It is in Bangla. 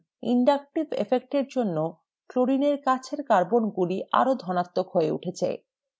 inductive effect এর জন্য chlorine এর কাছেরকার্বোনগুলি আরো ধনাত্মক হয়ে উঠেছে